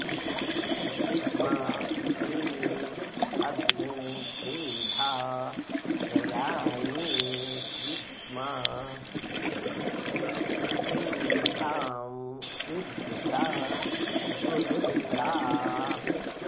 वि॒द्मा ते॑ अग्ने त्रे॒धा त्र॒याणि॑ वि॒द्मा ते॒ धाम॒ विभृ॑ता पुरु॒त्रा